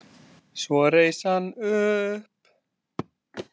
Svo reis hann upp.